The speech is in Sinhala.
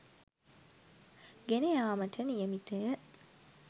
ගෙන යාමට නියමිතය.